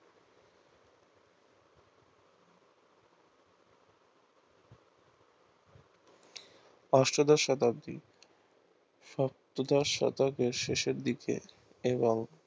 অষ্টদশ শতাব্দী সপ্তদশ শতকের শেষের দিকে এবং